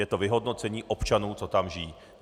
Je to vyhodnocení občanů, kteří tam žijí.